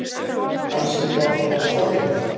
Kannski var það bara forvitni.